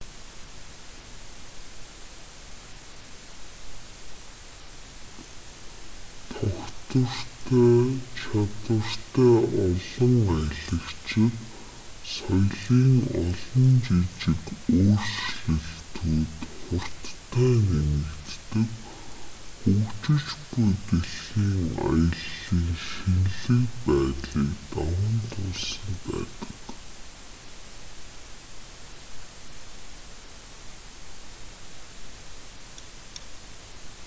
тогтвортой чадвартай олон аялагчид соёлын олон жижиг өөрчлөлтүүд хурдтай нэмэгддэг хөгжиж буй дэлхийн аяллын шинэлэг байдлыг даван туулсан байдаг